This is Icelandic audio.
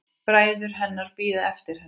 Bræður hennar bíða eftir henni.